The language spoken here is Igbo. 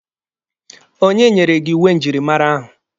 Onye nyere gị uwe njirimara ahụ?